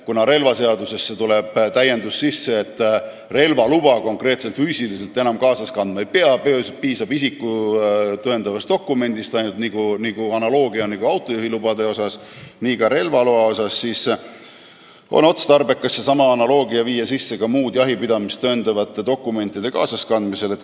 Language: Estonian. Kuna relvaseadusesse tuleb täiendus, et relvaluba füüsilisel kujul enam kaasas kandma ei pea, piisab ainult isikut tõendavast dokumendist, analoogiliselt autojuhilubadega, siis on otstarbekas seesama analoogia viia sisse ka muude jahipidamist tõendavate dokumentide kaasaskandmise suhtes.